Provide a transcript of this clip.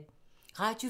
Radio 4